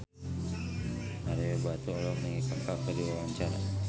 Ario Batu olohok ningali Kaka keur diwawancara